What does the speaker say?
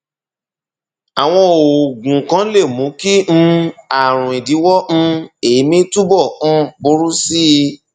àwọn oògùn kan lè mú kí um ààrùn ìdíwọ um èémí túbọ um burú sí i